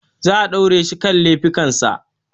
Zaa daure shi kan lafikan sa